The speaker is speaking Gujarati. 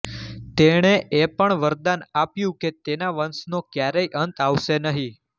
તેણે એ પણ વરદાન આપ્યું કે તેના વંશનો ક્યારેય અંત આવશે નહિ